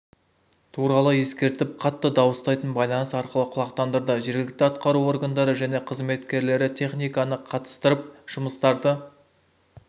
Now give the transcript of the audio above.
туралы ескертіп қатты дауыстайтын байланыс арқылы құлақтандырды жергілікті атқару органдары және қызметкерлері техниканы қатыстырып жұмыстарды